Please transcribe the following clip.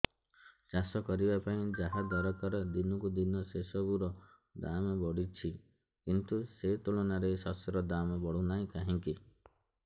ଚାଷ କରିବା ପାଇଁ ଯାହା ଦରକାର ଦିନକୁ ଦିନ ସେସବୁ ର ଦାମ୍ ବଢୁଛି କିନ୍ତୁ ସେ ତୁଳନାରେ ଶସ୍ୟର ଦାମ୍ ବଢୁନାହିଁ କାହିଁକି